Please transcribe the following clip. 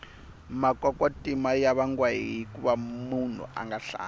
makwakwatima ya vangiwa hikuva munhu anga hlambi